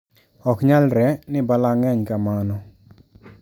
Oknyalre ni balang` ng`eny kamano